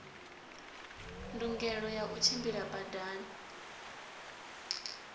ndungelo ya u tshimbila badani